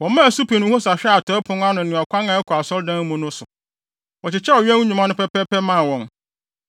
Wɔmaa Supim ne Hosa hwɛɛ atɔe pon no ne ɔkwan a ɛkɔ asɔredan no mu no so. Wɔkyekyɛɛ ɔwɛn nnwuma no pɛpɛɛpɛ maa wɔn.